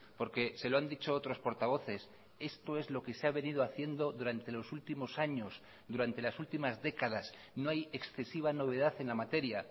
porque se lo han dicho otros portavoces esto es lo que se ha venido haciendo durante los últimos años durante las últimas décadas no hay excesiva novedad en la materia